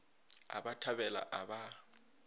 a ba thabela a ba